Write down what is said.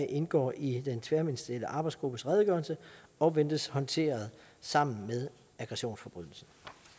indgår i den tværministerielle arbejdsgruppes redegørelse og ventes håndteret sammen med aggressionsforbrydelsen